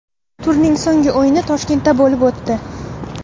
Turning so‘nggi o‘yini Toshkentda bo‘lib o‘tdi.